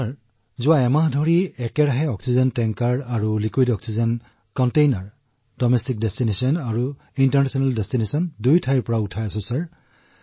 sir যোৱা এটা মাহত আমি অহৰহ অক্সিজেন টেংকাৰ আৰু তৰল অক্সিজেন কণ্টেইনাৰ দেশ আৰু বিদেশৰ পৰা পৰিবহণ কৰিছো